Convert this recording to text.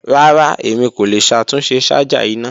Rara, Emi ko le ṣatunṣe ṣaja ina.